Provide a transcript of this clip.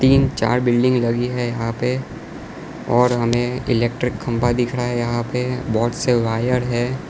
तीन चार बिल्डिंग लगी है यहां पे और हमें इलेक्ट्रिक खंबा दिख रहा है यहां पे बहोत से वायर हैं।